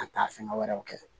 Ka taa fɛngɛ wɛrɛw kɛ